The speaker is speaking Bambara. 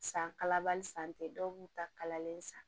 San kalabali san tɛ dɔw b'u ta kalalen san